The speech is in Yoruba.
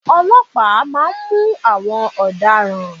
Ọlọ́pàá má a nmú àwọn ọ̀daràn